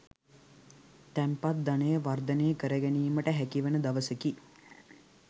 තැන්පත් ධනය වර්ධනය කරගැනීමට හැකිවන දවසකි.